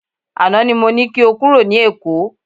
Àná ni mo ní kí o kúrò ní Èkó.